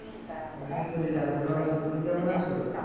আলহামদুলিল্লাহ ভালো আছি তুমি কেমন আছো